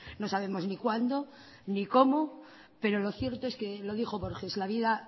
no sabemos ni cuándo ni cómo pero lo cierto es que lo dijo borges la vida